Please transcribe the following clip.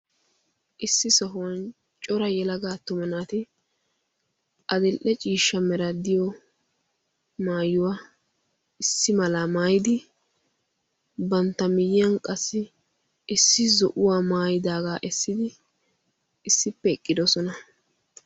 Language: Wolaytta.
Issi sohuwan cora yelaga attumma naati addil''e ciishsha meray diyo maayuwaa issi mala mayyidi bantta miyiyyan issi zo'uwa maayyidaaga essidi issippe eqqidoosona.